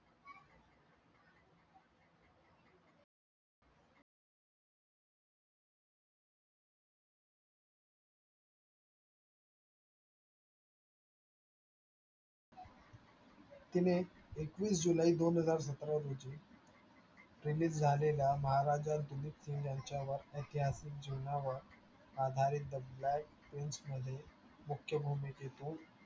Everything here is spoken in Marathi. तिने एकवीस जुलै दोनहजार सतरा रोजी release झालेला यांच्यावर एतिहासिक जीवनावर आधारित मध्ये मुख्य भूमिकेतून